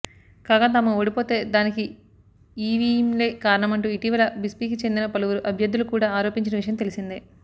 కాగా తాము ఓడిపోతే దానికి ఈవీంలే కారణమంటూ ఇటీవల బీస్పీకి చెందిన పలువురు అభ్యర్థులు కూడా ఆరోపించిన విషయం తెలిసిందే